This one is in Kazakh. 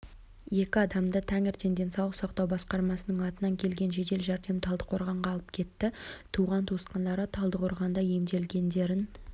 екі адамды таңертең денсаулық сақтау басқармасының атынан келген жедел жәрдем талдықорғанға алып кетті туған-туысқандары талдықорғанда емделгендерін